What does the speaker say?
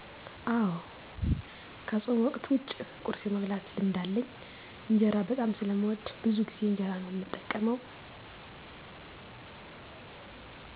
አወ ከፆም ወቅት ዉጭ ቁርስ የመብላት ልምድ አለኝ። እንጀራ በጣም ስለምወድ ብዙ ጊዜ እንጀራ ነው እምጠቀመው።